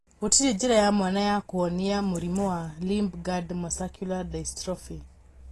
Gũtirĩ njĩra ya mwanya ya kũhonia mũrimũ wa limb girdle muscular dystrophy